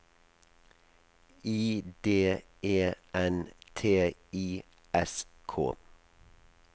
I D E N T I S K